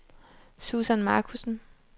Susan Markussen